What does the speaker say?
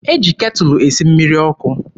E ji ketụlụ esi mmiri ọkụ.